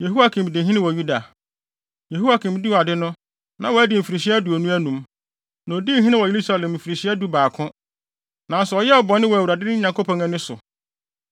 Yehoiakim dii ade no, na wadi mfirihyia aduonu anum, na odii hene wɔ Yerusalem mfirihyia dubaako. Nanso ɔyɛɛ bɔne wɔ Awurade, ne Nyankopɔn, ani so.